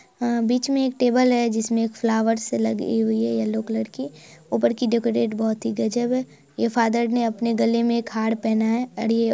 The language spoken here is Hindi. अ बीच में एक टेबल है| इसमें एक फ्लावर लगी हुई है येल्लो कलर की ऊपर की डेकोरेट बहुत गजब है| ये फादर ने अपने गले में एक हार पहना है और ये--